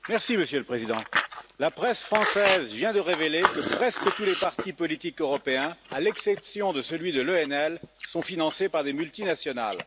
Monsieur le Président, la presse française vient de révéler que presque tous les partis politiques européens, à l'exception de l'ENL, sont financés par des multinationales.